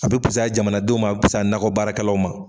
A be pusaya jamanadenw ma a be pusaya nakɔ baarakɛlaw ma